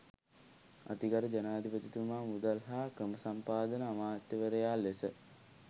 අතිගරු ජනාධිපතිතුමා මුදල් හා ක්‍රමසම්පාදන අමාත්‍යවරයා ලෙස